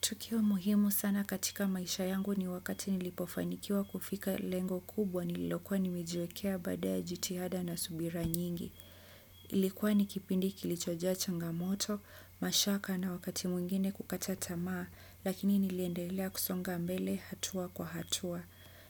Tukio muhimu sana katika maisha yangu ni wakati nilipofanikiwa kufika lengo kubwa nililokuwa nimejiwekea baada ya jitihada na subira nyingi. Ilikuwa ni kipindi kilichoja changamoto, mashaka na wakati mwingine kukacha tamaa lakini niliendelea kusonga mbele hatua kwa hatua.